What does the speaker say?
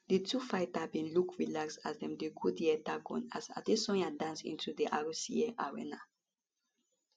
di two fighter bin look relaxed as dem dey go di octagon as adesanya dance into di rac arena